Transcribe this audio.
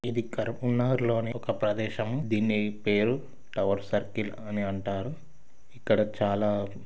ఇది కర్పూల్ నగర్ లోని ఒక ప్రదేశం. దీని పేరు టవర్ సర్కిల్ అని అంటారు.